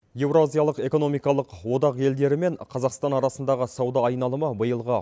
еуразиялық экономикалық одақ елдері мен қазақстан арасындағы сауда айналымы биылғы